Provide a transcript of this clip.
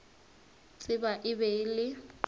tseba e be e le